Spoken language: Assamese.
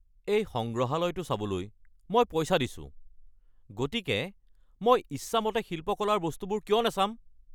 এই সংগ্ৰহালয়টো চাবলৈ মই পইচা দিছো, গতিকে মই ইচ্ছামতে শিল্পকলাৰ বস্তুবোৰ কিয় নাচাম!